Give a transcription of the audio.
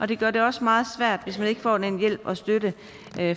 det gør det også meget svært hvis man ikke får den hjælp og støtte